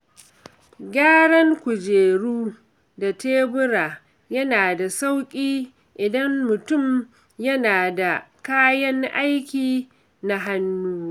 Gyaran kujeru da tebura yana da sauƙi idan mutum yana da kayan aiki na hannu.